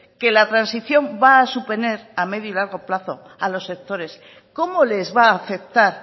que la transición va a suponer a medio y largo plazo a los sectores cómo les va a afectar